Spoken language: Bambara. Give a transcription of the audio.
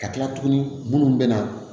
Ka kila tuguni munnu bɛ na